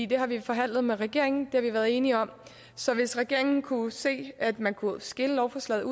det har vi forhandlet med regeringen har vi været enige om så hvis regeringen kunne se at man kunne skille lovforslaget